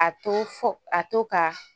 A to fɔ a to ka